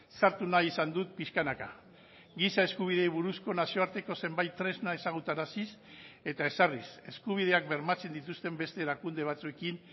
sartu nahi izan dut pixkanaka giza eskubideei buruzko nazioarteko zenbait tresna ezagutaraziz eta ezarriz eskubideak bermatzen dituzten beste erakunde batzuekin